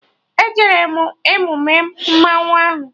E jere m emume mmanwụ ahụ